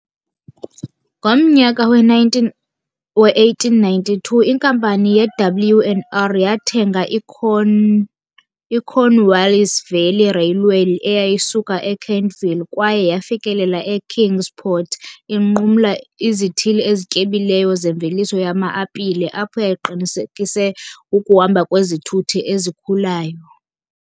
Ngomnyaka we-1892 inkampani ye-W and R yathenga i- Cornwallis Valley Railway eyayisuka e-Kentville kwaye yafikelela e-Kingsport inqumla izithili ezityebileyo zemveliso yama-apile apho yayiqinisekise ukuhamba kwezithuthi ezikhulayo .